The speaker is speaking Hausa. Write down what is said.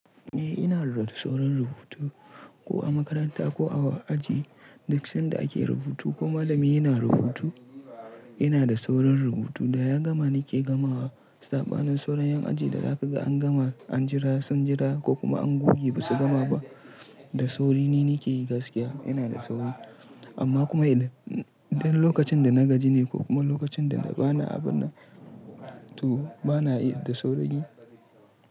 Eh ina rakco wurin rubutu ko a makaranta ko a aji duk sanda ake rubutu ko malami yana rubutu ina da saurin rubutu da ya gama nike gama saɓanin sauran yan aji da zaga an gama an jira sun jira ko kuma an goge ba su gama ba da sauri ni nike yi gaskiya ina da sauri amma kuma idan lokacin da na gaji ne ko kuma lokacin dana ba na abin nan to ba na iya da saurin yi.